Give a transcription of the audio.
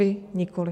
Vy nikoli.